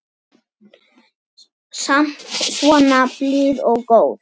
Samt svo blíð og góð.